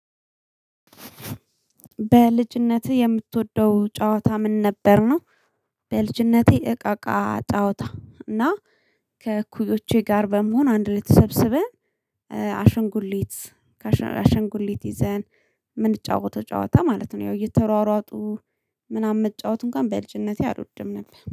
በልጅነትህ የምትወደው ጨዋታ ምን ነበር ነው? በልጅነቴ እቃቃ ጫዋታ እና ከእኩዮቼ ጋር በመሆን አንድ ላይ ተሰበሰበን። አሽንጉሊት አሸንጉሊት ይዘን ምንጫወተው ጨዋታ ማለት ነው። ያው እየተሯሯጡ ምናምን የምትጫወቱን እንኳን በልጅነቴ አልወድም ነበር